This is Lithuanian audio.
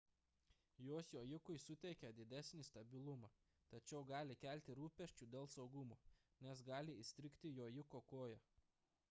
jos jojikui suteikia didesnį stabilumą tačiau gali kelti rūpesčių dėl saugumo nes gali įstrigti jojiko koja